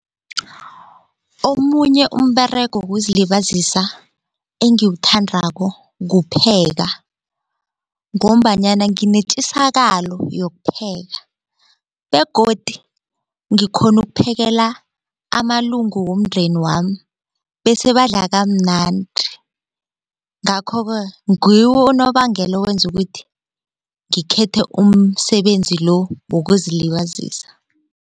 Omunye umberego wokuzilibazisa engiwuthandako kupheka ngombanyana nginetjisakalo yokuphekela begodi ngikhona ukuphekela amalungu womndeni wami bese badla kamnandi ngakho-ke ngiwo unobangela owenza ukuthi ngithethe umsebenzi lo wokuzilibazisa.